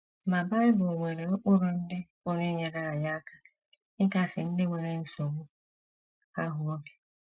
Ma, Bible nwere ụkpụrụ ndị pụrụ inyere anyị aka ịkasi ndị nwere nsogbu ahụ obi.